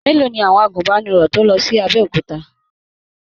Mélòó ni àwọn àgùnbánirọ̀ tó lọ sí Abẹ́òkúta?